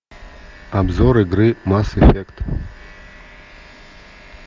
обзор игры масс эффект